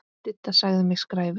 Didda sagði mig skræfu.